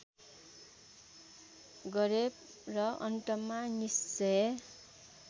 गरे र अन्तमा निश्चय